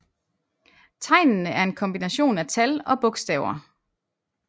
Tegnene er en kombination af tal og bogstaver